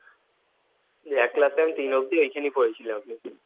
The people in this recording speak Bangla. এক ক্লাসে ঐ তিন অবধি আমি ঐখানেই পড়েছিলাম